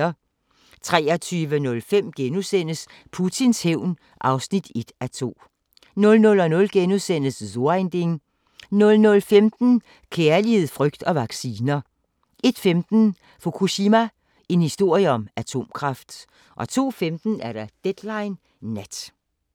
23:05: Putins hævn (1:2)* 00:00: So ein Ding * 00:15: Kærlighed, frygt og vacciner 01:15: Fukushima – en historie om atomkraft 02:15: Deadline Nat